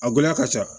A gɛlɛya ka ca